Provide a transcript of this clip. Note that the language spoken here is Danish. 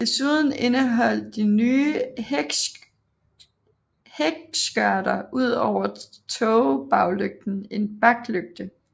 Desuden indeholdt de nye hækskørter ud over tågebaglygten en baklygte